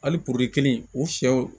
Hali porode kelen u sɛw